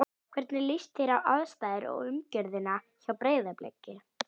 Hvernig líst þér á aðstæður og umgjörðina hjá Breiðabliki?